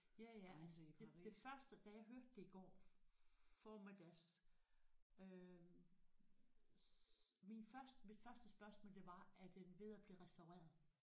Ja ja ej det det første da jeg hørte det i går formiddags øh min første mit første spørgsmål det var er den ved at blive restaureret